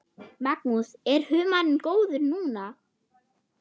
Magnús: Er humarinn góður núna?